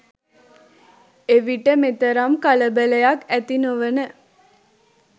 එවිට මෙතරම් කලබලයක් ඇති නොවන